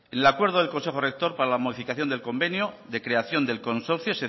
el acuerdo del consejo rector para la modificación del convenio de creación del consorcio